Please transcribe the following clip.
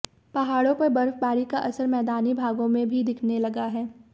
पहाड़ों पर बर्फबारी का असर मैदानी भागों में भी दिखने लगा है